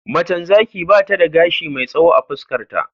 Macen Zaki bata gashi mai tsawo a fuskar ta